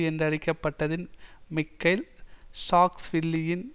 என்றழைக்கப்பட்டதில் Mikheil சாக்ஸ்வில்லியின்